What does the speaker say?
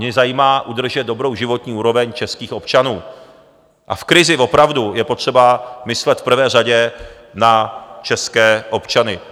Mě zajímá udržet dobrou životní úroveň českých občanů a v krizi opravdu je potřeba myslet v prvé řadě na české občany.